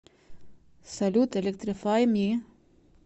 салют электрифай ми